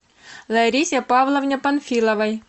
ларисе павловне панфиловой